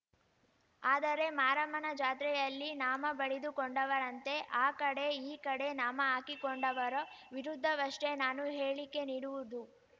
ಆದರೆ ಮಾರಮ್ಮನ ಜಾತ್ರೆಯಲ್ಲಿ ನಾಮ ಬಳಿದುಕೊಂಡವರಂತೆ ಆ ಕಡೆ ಈ ಕಡೆ ನಾಮ ಹಾಕಿಕೊಂಡವರ ವಿರುದ್ಧವಷ್ಟೇ ನಾನು ಹೇಳಿಕೆ ನೀಡಿವುದು